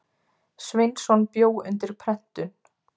Sveinsson bjó undir prentun.